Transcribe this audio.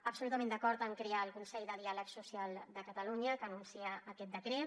absolutament d’acord en crear el consell de diàleg social de catalunya que anuncia aquest decret